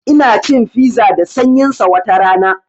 Ina cin fiza da sanyin sa watarana